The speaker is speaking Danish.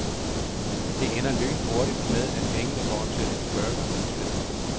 Det ender lynhurtigt med at pengene går til en burger i stedet.